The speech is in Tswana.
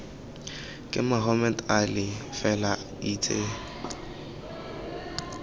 ke mohammed ali fela itse